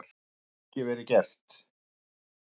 Það hefði ekki verið gert.